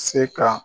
Se ka